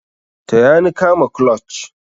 Taya ni kama clutch.